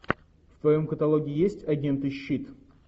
в твоем каталоге есть агенты щит